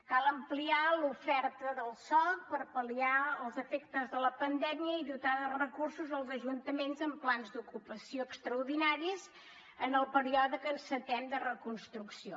cal ampliar l’oferta del soc per pal·liar els efectes de la pandèmia i dotar de recursos els ajuntaments amb plans d’ocupació extraordinaris en el període que encetem de reconstrucció